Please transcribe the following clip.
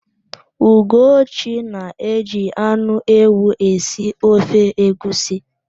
Ugochi na-eji anụ ewu esi ofe egwusi.